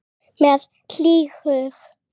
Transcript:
Með hlýhug.